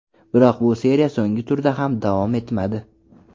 Biroq bu seriya so‘nggi turda ham davom etmadi.